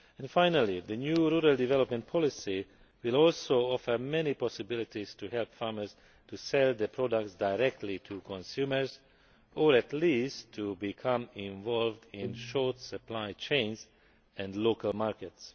Finally, the new rural development policy will also offer many possibilities for helping farmers to sell their products directly to consumers, or at least to become involved in short supply chains and local' markets.